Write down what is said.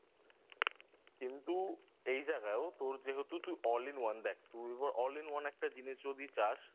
কিন্তু এই জায়গায়ও তোর যেহেতু তুই All In one দেখ All In One একটা জিনিস যদি চাস